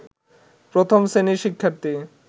প্রথম শ্রেণির শিক্ষার্থী